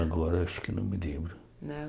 Agora acho que não me lembro.